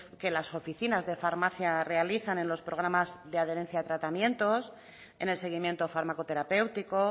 que las oficinas de farmacia realizan en los programas de adherencia de tratamientos en el seguimiento fármaco terapéutico